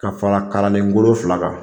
Ka fara kalanlen kolon fila kan